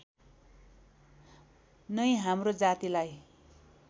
नै हाम्रो जातिलाई